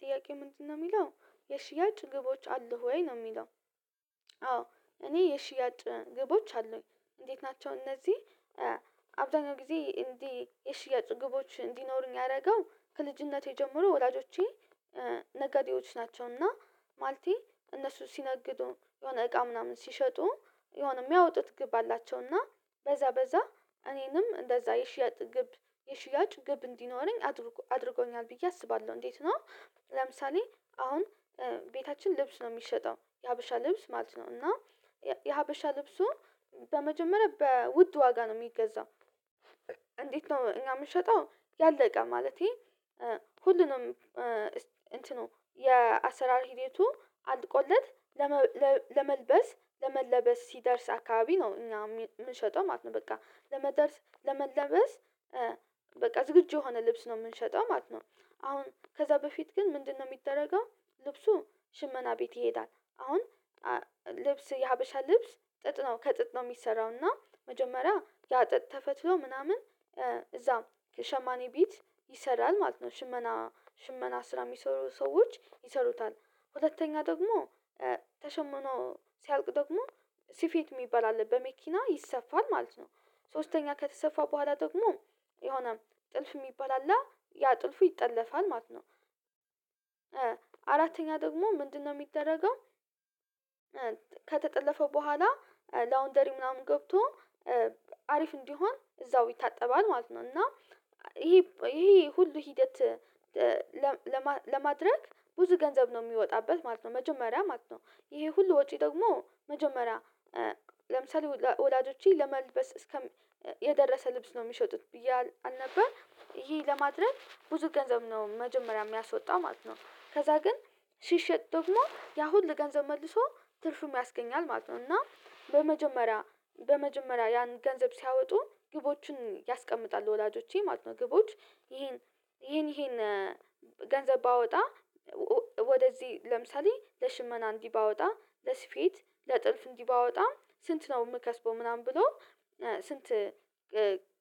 ጥያቄ ምንድነው የሚለው የሽያጭ ግቦች አሉ ወይ ነው የሚለው? አዎ እኔ የሽያጭ ግቦች አሉኝ እንዴት ናቸው እነዚህ? አብዛኛው ጊዜ እንግዲህ የሽያጭ ግቦች እንዲኖሩኝ ያደረገው ከልጅነቴ ጀምሮ ወላጆቼ ነገዴዎች ናቸው እና ማልቴ እነሱ ሲነግዱ የሆነ እቃ ምናምን ሲሸጡ የሆነ የሚያወጡት ግብ አላቸው እና በዛ በዛ እኔንም እንደዛ የሽያጭ ግብ የሽያጭ ግብ እንዲኖረኝ አድርጎ አድርጎኛል ብዬ አስባለሁ እንዴት ነው? ለምሳሌ አሁን ቤታችን ልብስ ነው የሚሸጠው የሀበሻ ልብስ ማለት ነው እና የሀበሻ ልብሱ በመጀመሪያ በውድ ዋጋ ነው የሚገዛው እንዴት ነው እኛ የምንሸጠው ያለቀ ማለቴ ሁሉንም እንትኑ የአሰራር ሂደቱ አልቆለት ለመልበ ለመልበስ ለመለበስ ሲደርስ አካባቢ ነው እና የምንሸጠው ማለት ነው በቃ ለመደርስ ለመለበስ በቃ ዝግጁ የሆነ ልብስ ነው የምንሸጠው ማለት ነው። አሁን ከዛ በፊት ግን ምንድነው የሚደረገው? ልብሱ ሽመና ቤት ይሄዳል አሁን ልብስ የሀበሻ ልብስ ጥጥ ነው ከጥጥ ነው የሚሰራው እና መጀመሪያ ያጥጥ ተፈትሎ ምናምን እዛ ሸማኔ ቤት ይሰራል ማለት ነው ሽመና ሽመና ስራ የሚሰሩ ሰዎች ይሰሩታል ሁለተኛ ደግሞ ተሸምኖ ሲያልቅ ደግሞ ስፌት የሚባል አለ በመኪና ይሰፋል ማለት ነው። ሶስተኛ ከተሰፋ በኋላ ደግሞ የሆነ ጥልፍ የሚባል አለ ያ ጥልፉ ይጠለፋል ማለት ነው። አራተኛ ደግሞ ምንድነው የሚደረገው? ከተጠለፈ በኋላ ላውንደሪ ምናምን ገብቶ አሪፍ እንዲሆን እዛው ይታጠባል ማለት ነው። እና ይሄ ይሄ ሁሉ ሂደት ለም ለም ለማድረግ ብዙ ገንዘብ ነው የሚወጣበት ማለት ነው። መጀመሪያ ማለት ነው ይሄ ሁሉ ወጪ ደግሞ መጀመሪያ ለምሳሌ ወላ ወላጆቼ ለመልበስ እስከም የደረሰ ልብስ ነው የሚሸጡት ብዬ አል አልነበር ይሄ ለማድረግ ብዙ ገንዘብ ነው መጀመሪያ የሚያስወጣው ማለት ነው። ከዛ ግን ሲሸጥ ደግሞ ያሁሉ ገንዘብ መልሶ ትርፍም ያስገኛል ማለት ነው። እና በመጀመሪያ በመጀመሪያ ያን ገንዘብ ሲያወጡ ግቦችን ያስቀምጣል ወላጆቼ ማለት ነው ግቦች ይሄን ይሄን ይሄን ገንዘብ ባወጣ ወደዚህ ለምሳሌ ለሽመና እንዲህ ባወጣ ለስፌት ለጥልፍ እንዲህ ባወጣ ስንት ነው የምከስበው ምናምን ብሎ ስንት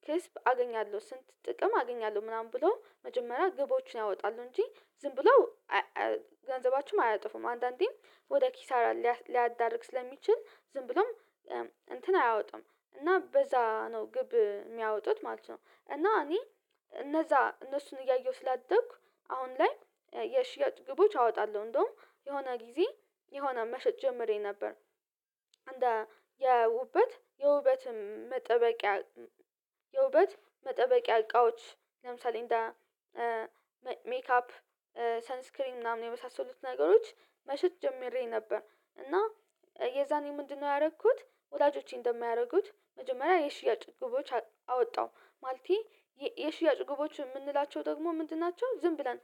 ክስብ አገኛለሁ ስንት ጥቅም አገኛለሁ ምናምን ብሎ መጀመሪያ ግቦችን ያወጣሉ እንጂ ዝም ብለው ገንዘባችሁም አያጠፉም አንዳንዴም ወደ ኪሳራ ሊያ ሊያዳርግ ስለሚችል ዝም ብሎም እንትን አያወጡም እና በዛ ነው ግብ የሚያወጡት ማለት ነው። እና እኔ እነዛ እነሱን እያየሁ ስላደኩ አሁን ላይ የሽያጭ ግቦች አወጣለሁ እንደውም የሆነ ጊዜ የሆነ መሸጥ ጀምሬ ነበር። አንዳ የውበት የውበትም መጠበቂያ የውበት መጠበቂያ እቃዎች ለምሳሌ እንደ ሜካፕ ሰንስክሪን ምናምን የመሳሰሉት ነገሮች መሸጥ ጀምሬ ነበር። እና የዛኔ ምንድነው ያደረኩት? ወዳጆቼን እንደሚያደርጉት መጀመሪያ የሽያጭ ግቦች አወጣው ማለቴ የ የሽያጭ ግቦች የምንላቸው ደግሞ ምንድን ናቸው? ዝም ብለን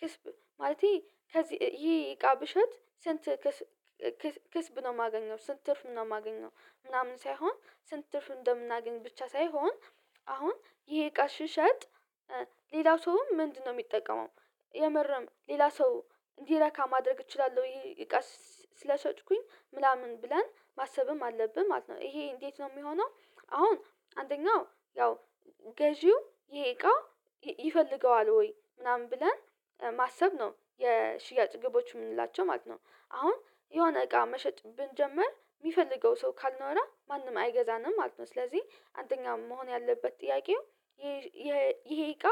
ክስብ ማለቴ ከዚህ ይሄ እቃ ብሸጥ ስንት ክስ ክስ ክስብ ነው የማገኘው ስንት ትርፍ ነው የማገኘው? ምናምን ሳይሆን ስንት ትርፍ እንደምናገኝ ብቻ ሳይሆን አሁን ይሄ እቃ ሽሸጥ ሌላው ሰውም ምንድነው የሚጠቀመው? የምርም ሌላ ሰው እንዲረካ ማድረግ እችላለሁ ይሄ እቃ ስ ስለሸጥኩኝ ምናምን ብለን ማሰብም አለብን ማለት ነው። ይሄ እንዴት ነው የሚሆነው አሁን አንደኛው ያው ገዢው ይሄ እቃ ይፈልገዋል ወይ ምናምን ብለን ማሰብ ነው የሽያጭ ግቦች የምንላቸው ማለት ነው። አሁን የሆነ እቃ መሸጥ ብንጀምር የሚፈልገው ሰው ካልኖረ ማንም አይገዛንም ማለት ነው። ስለዚህ አንደኛ መሆን ያለበት ጥያቄው ይሄ እቃ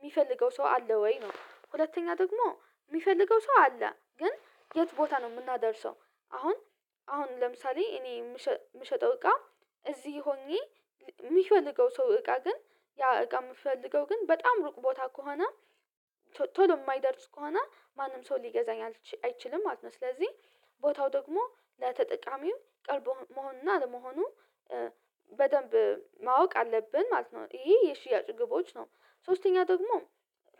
የሚፈልገው ሰው አለ ወይ ነው? ሁለተኛ ደግሞ የሚፈልገው ሰው አለ ግን የት ቦታ ነው የምናደርሰው? አሁን አሁን ለምሳሌ እኔ የም የምሸጠው እቃ እዚህ ሆኜ የሚፈልገው ሰው እቃ ግን ያ እቃ የምፈልገው ግን በጣም ሩቅ ቦታ ከሆነ ቶ ቶሎ የማይደርስ ከሆነ ማንም ሰው ሊገዛኝ አል አይችልም ማለት ነው። ስለዚህ ቦታው ደግሞ ለተጠቃሚው ቅርብ መሆንና አለመሆኑ በደንብ ማወቅ አለብን ማለት ነው። ይሄ የሽያጭ ግቦች ነው። ሶስተኛ ደግሞ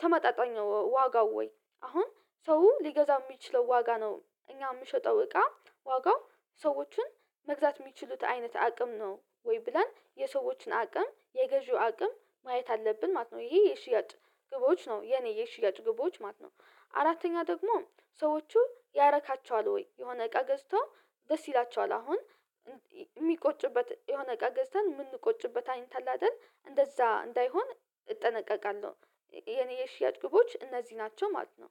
ተመጣጣኝ ዋጋው ወይ አሁን ሰው ሊገዛው የሚችለው ዋጋ ነው እኛ የምሸጠው እቃ ዋጋው ሰዎችን መግዛት የሚችሉት አይነት አቅም ነው ወይ ብላን የሰዎችን አቅም የገዢው አቅም ማየት አለብን ማለት ነው። ይሄ የሽያጭ ግቦች ነው የኔ የሽያጭ ግቦች ማለት ነው። አራተኛ ደግሞ ሰዎቹ ያረካቸዋል ወይ የሆነ እቃ ገዝቶ ደስ ይላቸዋል አሁን የሚቆጭበት የሆነ እቃ ገዝተን ምንቆጭበት አይነት አለ አይደል እንደዛ እንዳይሆን እጠነቀቃለሁ። የኔ የሺያጭ ግቦች እነዚህ ናቸው ማለት ነው